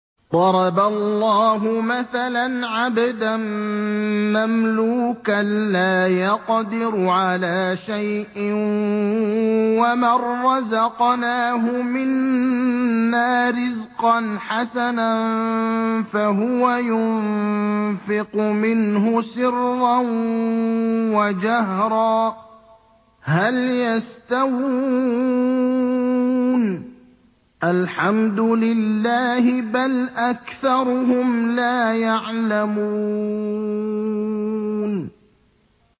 ۞ ضَرَبَ اللَّهُ مَثَلًا عَبْدًا مَّمْلُوكًا لَّا يَقْدِرُ عَلَىٰ شَيْءٍ وَمَن رَّزَقْنَاهُ مِنَّا رِزْقًا حَسَنًا فَهُوَ يُنفِقُ مِنْهُ سِرًّا وَجَهْرًا ۖ هَلْ يَسْتَوُونَ ۚ الْحَمْدُ لِلَّهِ ۚ بَلْ أَكْثَرُهُمْ لَا يَعْلَمُونَ